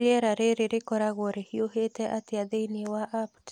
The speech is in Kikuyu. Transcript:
Rĩera rĩrĩ rĩkoragwo rĩhiũhĩte atĩa thĩinĩ wa apt